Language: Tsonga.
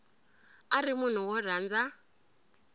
a ri munhu wo rhandza